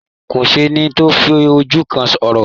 Kò sẹ́ni tó fi ojú kan Orò.